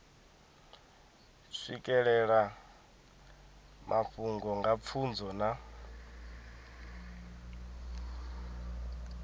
swikelela mafhungo nga pfunzo na